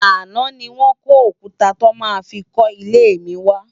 Aná ni wòn kó ókútá tò má fi kò ilé mi wá